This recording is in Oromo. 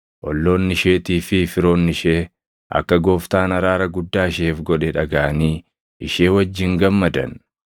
Olloonni isheetii fi firoonni ishee akka Gooftaan araara guddaa isheef godhe dhagaʼanii ishee wajjin gammadan.